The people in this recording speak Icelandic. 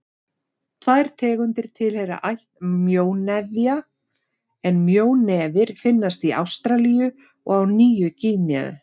Tvær tegundir tilheyra ætt mjónefja en mjónefir finnast í Ástralíu og á Nýju-Gíneu.